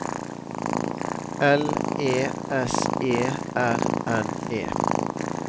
L E S E R N E